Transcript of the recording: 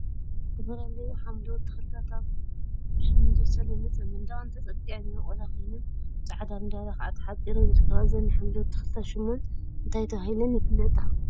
ዝተፈላለዩ ሓምለዎት ተክሊታ አብ ብስሚንቶ ዝተለመፀ መንደቅ ተፀጊዐን ዝበቆላ ኮይነን ብፃዕዳ መዳበርያ ከዓ ተሓፂረን ይርከባ፡፡ እዘን ሓምለዎት ተክሊታት ሹመን እንታይ ተባሂለን ይፍለጣ?